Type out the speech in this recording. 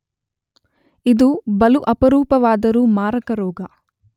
ಇದು ಬಲು ಅಪರೂಪವಾದರೂ ಮಾರಕ ರೋಗ.